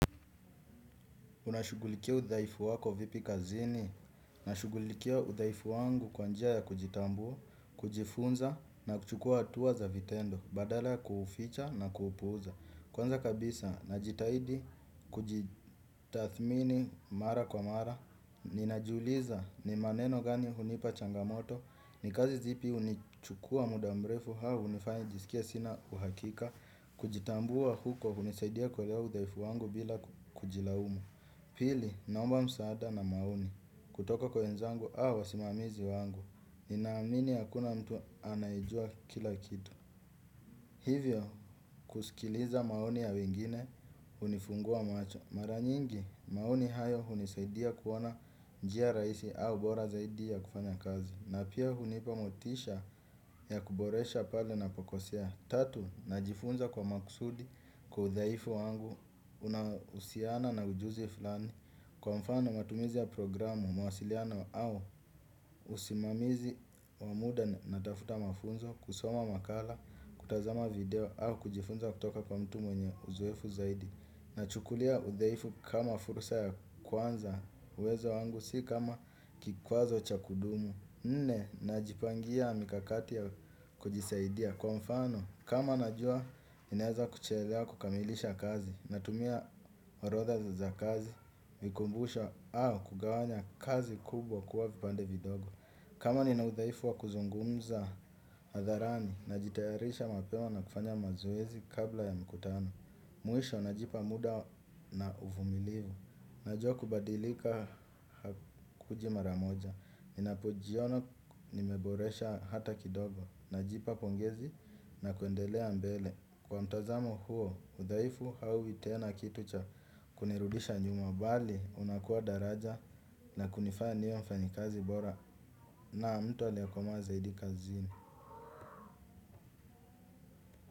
Unashugulikia udhaifu wako vipi kazini, nashugulikia udhaifu wangu kwa njia ya kujitambua, kujifunza na kuchukua hatua za vitendo, badala kuficha na kupuuza. Kwanza kabisa, najitahidi kujitathmini mara kwa mara, ninajiuliza ni maneno gani hunipa changamoto, ni kazi zipi hunichukua muda mrefu au, hunifanya nijisikie sina uhakika, kujitambua huko, hunisaidia kuelewa udhaifu wangu bila kujilaumu. Pili, nomba msaada na maoni. Kutoka kwa wenzangu, au wasimamizi wangu. Ninaamini hakuna mtu anayejua kila kitu. Hivyo, kusikiliza maoni ya wengine, hunifungua macho. Mara nyingi, maoni hayo hunisaidia kuona njia rahisi au bora zaidi ya kufanya kazi. Na pia hunipa motisha ya kuboresha pale nnapokosea. Tatu, najifunza kwa makusudi kwa udhaifu wangu. Unahusiana na ujuzi fulani. Kwa mfano matumizi ya programu, mawasiliano au usimamizi wa muda natafuta mafunzo, kusoma makala, kutazama video au kujifunza kutoka kwa mtu mwenye uzoefu zaidi. Nachukulia udhaifu kama fursa ya kwanza. Uwezo wangu si kama kikwazo cha kudumu. Nne, najipangia mikakati ya kujisaidia kwa mfano kama nnajua, ninaweza kuchelewa kukamilisha kazi. Natumia orodha za kazi, kunikumbusha au kugawanya kazi kubwa kuwa vipande vidogo. Kama nina udhaifu wa kuzungumza hatharani najitayarisha mapema na kufanya mazoezi kabla ya mikutano. Mwisho, najipa muda na uvumilivu. Najua kubadilika hakukuji mara moja. Ninapojiona nimeboresha hata kidogo. Najipa pongezi na kuendelea mbele. Kwa mtazamo huo, udhaifu hauwi tena kitu cha kunirudisha nyuma mbali, unakuwa daraja. Na kunifaya niwe mfanyikazi bora. Na mtu abayekomaa zaidi kazini.